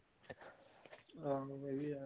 ਹਾਂ ਹਾਂ ਵਧੀਆ